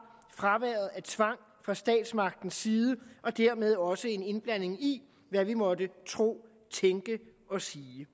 fraværet af tvang fra statsmagtens side og dermed også fraværet af en indblanding i hvad vi måtte tro tænke og sige